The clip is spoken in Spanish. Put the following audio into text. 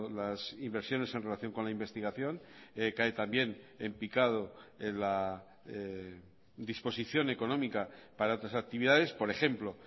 las inversiones en relación con la investigación cae también en picado en la disposición económica para otras actividades por ejemplo